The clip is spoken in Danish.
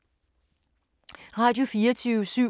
Radio24syv